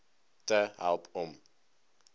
te help om